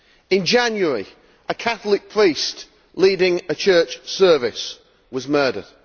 In January a Catholic priest leading a church service was murdered